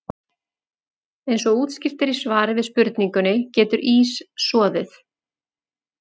Eins og útskýrt er í svari við spurningunni Getur ís soðið?